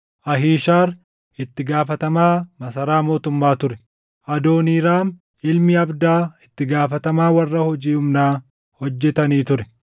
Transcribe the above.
Ahiishaar, itti gaafatamaa masaraa mootummaa ture; Adooniiraam ilmi Abdaa itti gaafatamaa warra hojii humnaa hojjetanii ture.